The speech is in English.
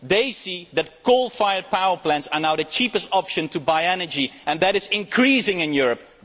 They see that coal fired power plants are now the cheapest option for energy, and that is increasing in Europe.